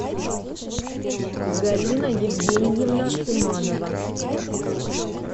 галина евгеньевна иманова